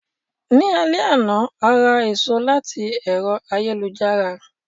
Ní alé àná,a ra èso láti ẹ̀rọ ayélujára.